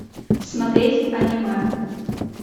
смотреть аниме